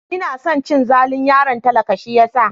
Ina son cin zalin yaron talakan shi yasa.